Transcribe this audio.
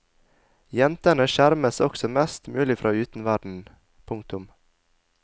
Jentene skjermes også mest mulig fra utenverdenen. punktum